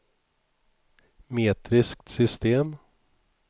metriskt system